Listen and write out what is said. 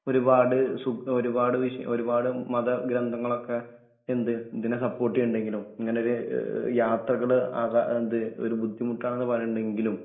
ഒരുപാട്‌ സുഗ ഒരുപാട് വിഷ ഒരുപാട് മതഗ്രന്ഥങ്ങളൊക്കെ എന്ത് ഇതിനെ സപ്പോട്ടിയിണ്ടങ്കിലും ഇങ്ങനൊരു യ യാത്രകൾ അതാ എന്ത് ഒരു ബുദ്ധിമുട്ടാന്ന് പറീണ്ടെങ്കിലും